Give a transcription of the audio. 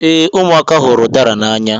Ee, ụmụaka hụrụ udara n'anya